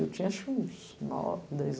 Eu tinha acho que uns nove, dez anos.